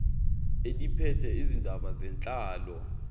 eliphethe izindaba zenhlalo